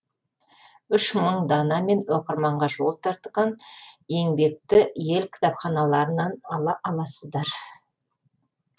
үш мың данамен оқырманға жол тартқан еңбекті ел кітапханаларынан ала аласыздар